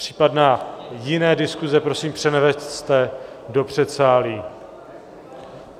Případné jiné diskuse prosím převeďte do předsálí.